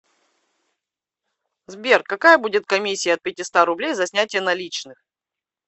сбер какая будет комиссия от пятиста рублей за снятия наличных